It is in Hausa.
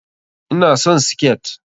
Ina son siket.